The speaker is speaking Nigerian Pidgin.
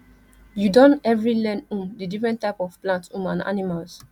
you don every learn um di different types of plants um and animals